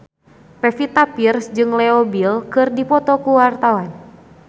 Pevita Pearce jeung Leo Bill keur dipoto ku wartawan